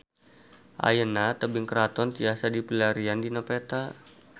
Ayeuna Tebing Keraton tiasa dipilarian dina peta